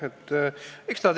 Aitäh!